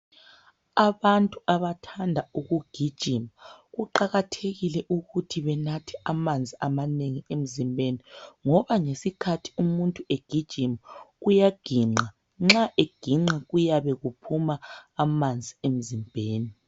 Abantu abathanda ukugijima kuqakathekile ukuthi benathe amanzi amanengi emzimbeni. Ngoba ngesikhathi umuntu egijima, uyaginqa nxa eginqa kuyabe kuphuma amanzi emzimbeni.